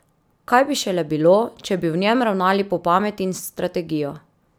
Kaj bi šele bilo, če bi v njem ravnali po pameti in s strategijo!